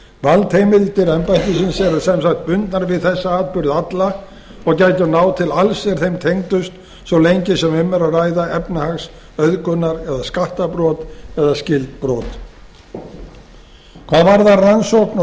valdheimildir embættisins eru sem sagt bundnar við þessa atburði alla og gætu náð til alls er þeim tengdust svo lengi sem um er að ræða efnahags auðgunar eða skattabrot eða skyld brot hvað varðar rannsókn og saksókn